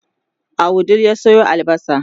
a wudil ya Sayo albasa